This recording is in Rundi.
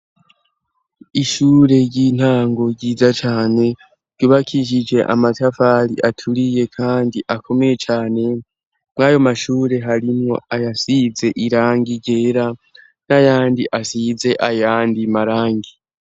Ishure ry'intango ryiza cane ryubakishije amatafari aturiye kandi akomeye cane mwayo mashure harimwo ayasize irangi ryera n'ayandi asize ayandi marangi.